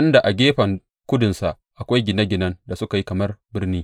inda a gefen kudunsa akwai gine ginen da suka yi kamar birni.